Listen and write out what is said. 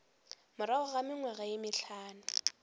morago ga mengwaga ye mehlano